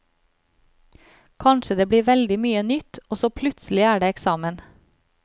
Kanskje det blir veldig mye nytt, og så plutselig er det eksamen.